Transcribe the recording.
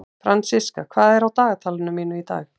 Fransiska, hvað er á dagatalinu mínu í dag?